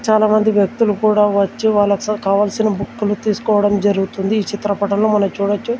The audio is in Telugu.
చాలామంది వ్యక్తులు కూడా వచ్చి వాల్లక్ కావాల్సిన బుక్కులు తీసుకోవడం జరుగుతుంది ఈ చిత్రపటంలో మనం చూడొచ్చు.